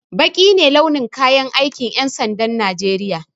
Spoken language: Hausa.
Baƙi ne launin kayan aikin ƴan sandan najeriya